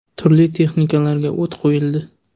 Turli texnikalarga o‘t qo‘yildi.